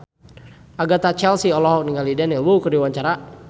Agatha Chelsea olohok ningali Daniel Wu keur diwawancara